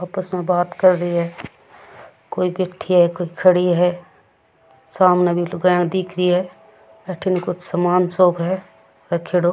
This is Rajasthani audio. आपस में बात कर ही है कोई बैठी है कोई खड़ी है सामने भी लुगाईया दिख रही है अठीन कोई सामान सो क है रखयोड़ो --